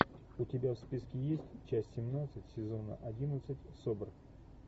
у тебя в списке есть часть семнадцать сезона одиннадцать собр